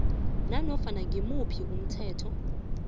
nanofana ngimuphi umthetho